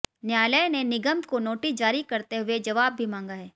न्यायालय ने निगम को नोटिस जारी करते हुए जवाब भी मांगा है